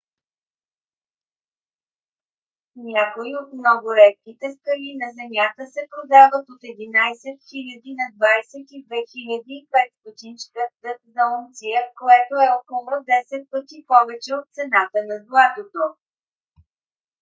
някои от много редките скали на земята се продават от 11 000 на 22 500 щ.д. за унция което е около 10 пъти повече от цената на златото